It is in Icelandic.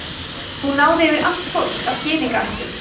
hún náði yfir allt fólk af gyðingaættum